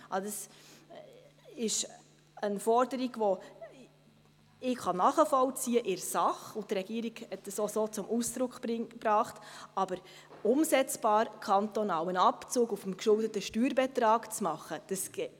Ich kann diese Forderung in der Sache zwar nachvollziehen – und die Regierung hat dies auch so zum Ausdruck gebracht –, es ist aber nicht umsetzbar, auf dem geschuldeten Steuerbetrag einen kantonalen Abzug zu machen.